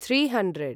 three hundred